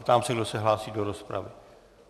Ptám se, kdo se hlásí do rozpravy.